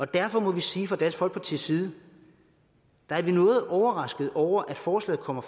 derfor må vi sige fra dansk folkepartis side at vi er noget overraskede over at forslaget kommer